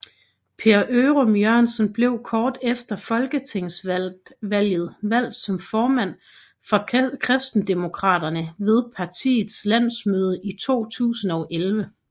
Per Ørum Jørgensen blev kort efter folketingsvalget valgt som formand for Kristendemokraterne ved partiets landsmøde i 2011